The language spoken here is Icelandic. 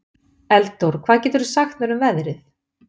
Eldór, hvað geturðu sagt mér um veðrið?